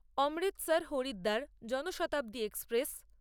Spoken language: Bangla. অমৃতসর হরিদ্বার জনশতাব্দী এক্সপ্রেস